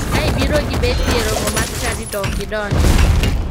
Ka ibiro gi beti e romo mar chadi to ok idonji.